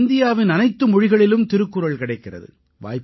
இன்று இந்தியாவின் அனைத்து மொழிகளிலும் திருக்குறள் கிடைக்கிறது